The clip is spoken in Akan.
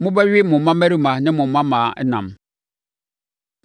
Mobɛwe mo mmammarima ne mo mmammaa ɛnam.